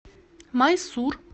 майсур